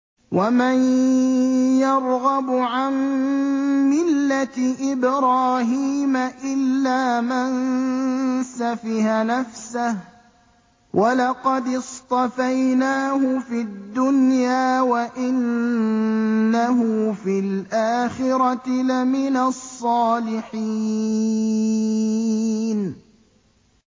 وَمَن يَرْغَبُ عَن مِّلَّةِ إِبْرَاهِيمَ إِلَّا مَن سَفِهَ نَفْسَهُ ۚ وَلَقَدِ اصْطَفَيْنَاهُ فِي الدُّنْيَا ۖ وَإِنَّهُ فِي الْآخِرَةِ لَمِنَ الصَّالِحِينَ